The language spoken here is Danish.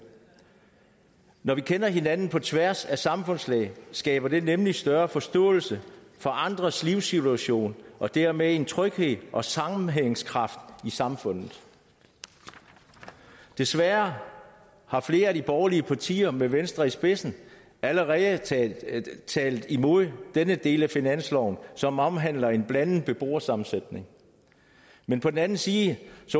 når vi kender hinanden på tværs af samfundslag skaber det nemlig større forståelse for andres livssituation og dermed en tryghed og sammenhængskraft i samfundet desværre har flere af de borgerlige partier med venstre i spidsen allerede talt imod denne del af finansloven som omhandler en blandet beboersammensætning men på den anden side